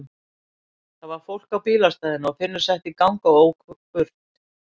Það var fólk á bílastæðinu og Finnur setti í gang og ók burt.